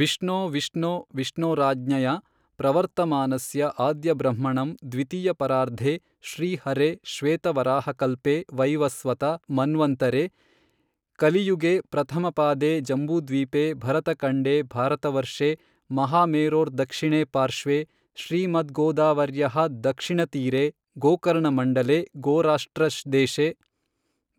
ವಿಷ್ಣೋ ವಿಷ್ಣೋ ವಿಷ್ಣೋರಾಜ್ಞಯಾ ಪ್ರವರ್ತಮಾನಸ್ಯ ಆದ್ಯಬ್ರಹ್ಮಣಃ ದ್ವಿತೀಯ ಪರಾರ್ಧೇ ಶ್ರೀ ಹರೇಃ ಶ್ವೇತವರಾಹಕಲ್ಪೇ ವೈವಸ್ವತ ಮನ್ವಂತರೇ ಕಲಿಯುಗೇ ಪ್ರಥಮ ಪಾದೇ ಜಂಬೂದ್ವೀಪೇ ಭರತಖಂಡೇ ಭಾರತವರ್ಷೇ ಮಹಾಮೇರೋರ್ದಕ್ಷಿಣೇ ಪಾರ್ಶ್ವೇ ಶ್ರೀಮದ್ಗೋದಾವರ್ಯಾಃ ದಕ್ಷಿಣೇ ತೀರೇ ಗೋಕರ್ಣಮಂಡಲೇ ಗೋರಾಷ್ಟ್ರ ದೇಶೇ